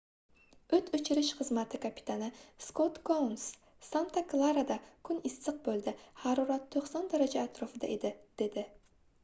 oʻt oʻchirish xizmati kapitani skot kouns santa klarada kun issiq boʻldi harorat 90 daraja atrofida edi dedi